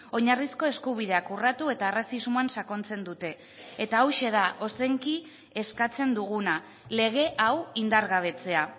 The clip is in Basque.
oinarrizko eskubideak urratu eta arrazismoan sakontzen dute eta hauxe da ozenki eskatzen duguna lege hau indargabetzea